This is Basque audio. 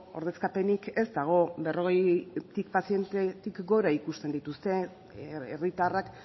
ordezkapenik ez dago berrogei pazientetik gora ikusten dituzte herritarrak